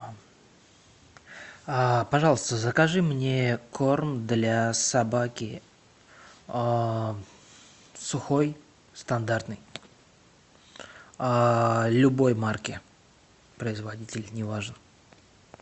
пожалуйста закажи мне корм для собаки сухой стандартный любой марки производитель не важен